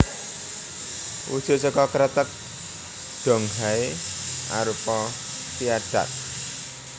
Wujud saka kreteg Donghai arupa viaduct